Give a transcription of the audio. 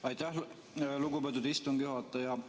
Aitäh, lugupeetud istungi juhataja!